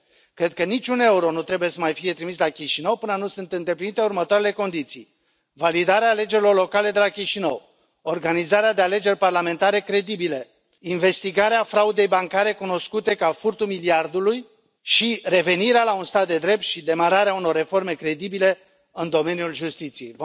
Cred că niciun euro nu trebuie să mai fie trimis la Chișinău, până nu sunt îndeplinite următoarele condiții validarea alegerilor locale de la Chișinău, organizarea de alegeri parlamentare credibile, investigarea fraudei bancare cunoscute ca furtul miliardului și revenirea la un stat de drept și demararea unor reforme credibile în domeniul justiției.